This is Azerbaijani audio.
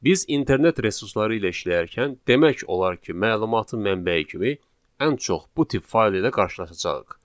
Biz internet resursları ilə işləyərkən demək olar ki, məlumatın mənbəyi kimi ən çox bu tip fayl ilə qarşılaşacağıq.